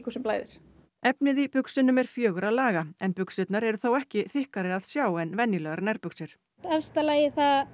sem blæðir efnið í buxunum er fjögurra laga en buxurnar eru þó ekki þykkari að sjá en venjulegar nærbuxur efsta lagið